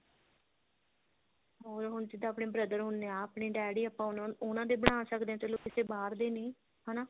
ਹੋਰ ਹੁਣ ਜਿੱਦਾਂ ਆਪਣੇ brother ਹੁੰਦੇ ਆ ਆਪਣੇ ਡੈਡੀ ਆਪਾਂ ਉਹਨਾ ਦੇ ਬਣਾ ਸਕਦੇ ਹਾਂ ਚਲੋ ਕਿਸੇ ਬਾਹਰ ਦੇ ਨਹੀਂ ਹਨਾ